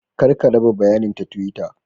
Kar ka raba bayanin ta twitter.